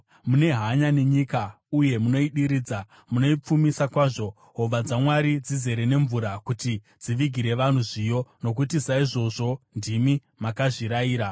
Mune hanya nenyika uye munoidiridza; munoipfumisa kwazvo. Hova dzaMwari dzizere nemvura kuti dzivigire vanhu zviyo, nokuti saizvozvo ndimi makazvirayira.